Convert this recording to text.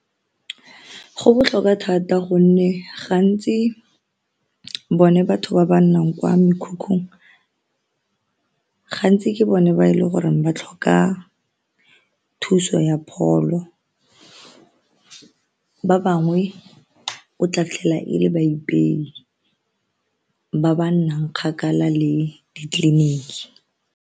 Go botlhokwa thata gonne gantsi bone batho ba ba nnang kwa mekhukhung gantsi ke bone ba e le goreng ba tlhoka thuso ya pholo ba bangwe o tla fitlhela e le baipei ba ba nnang kgakala le ditleliniki.